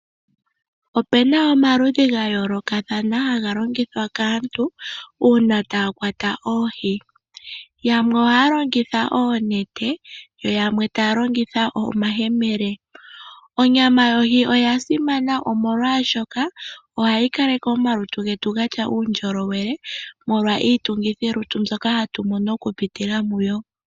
Opu na omaludhi ga yoolokathana haga longithwa kaantu uuna taa kwata oohi. Yamwe ohaya longitha oonete, yo yamwe taya longitha omayemele. Onyama yohi oya simana, omolwashoka ohayi kaleke omalutu getu ga tya uundjolowele molwa iitungithilutu mbyoka hatu mono okupitila muyo.